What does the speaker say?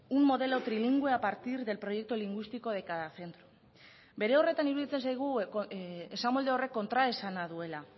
un modelo trilingüe a partir del proyecto lingüístico de cada centro bere horretan iruditzen zaigu esamolde horrek kontraesana duela